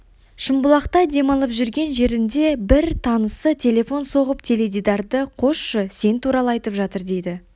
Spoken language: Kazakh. шымбұлақта демалып жүрген жерінде бір танысы телефон соғып теледидарды қосшы сен туралы айтып жатыр дейді